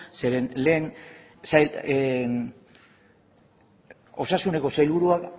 zeren lehen osasuneko sailburuak